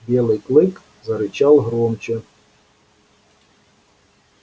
белый клык зарычал громче